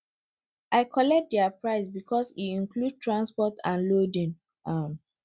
i collect their price because e include transport and loading um